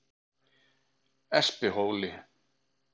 Espihóli